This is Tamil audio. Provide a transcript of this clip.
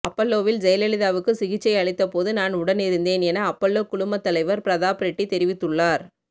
அப்பல்லோவில் ஜெயலலிதாவுக்கு சிகிச்சை அளித்த போது நான் உடனிருந்தேன் என அப்பல்லோ குழுமத் தலைவர் பிரதாப் ரெட்டி தெரிவித்துள்ளார்